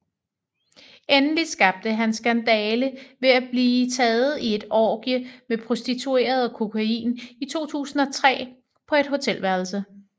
Endelig skabte han skandale ved at blive taget i et orgie med prostituerede og kokain i 2003 på et hotelværelse